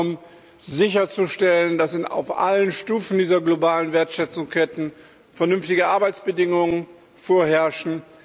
Es geht darum, sicherzustellen, dass auf allen Stufen dieser globalen Wertschöpfungsketten vernünftige Arbeitsbedingungen vorherrschen.